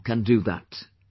You too can do that